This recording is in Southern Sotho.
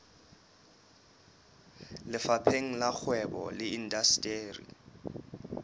lefapheng la kgwebo le indasteri